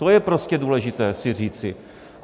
To je prostě důležité si říci.